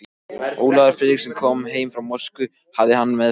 Ólafur Friðriksson kom heim frá Moskvu hafði hann meðferðis